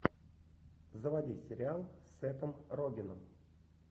заводи сериал с сэтом рогеном